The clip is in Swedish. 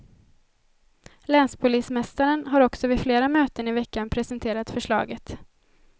Länspolismästaren har också vid flera möten i veckan presenterat förslaget.